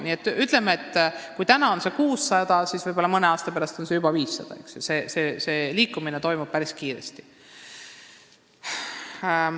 Kui praegu on see number 600, siis võib-olla mõne aasta pärast juba 500 – see liikumine toimub päris kiiresti.